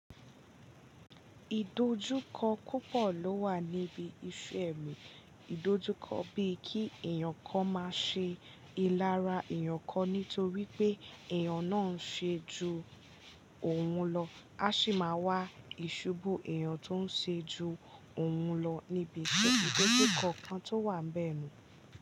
Ìdojúkọ púpọ̀ ló wà níbi iṣu ẹ̀mí. Ìdojúkọ bíi kí èyàn kan máa ṣe ìlara èyàn kan nítorí pé èyàn náà ń ṣe ju òun lọ, á sì máa wá ìṣubú èyàn tó ń ṣe ju òun lọ níbi ètùtù kọ̀ọ̀kan tó wà bẹ́ẹ̀ lọ.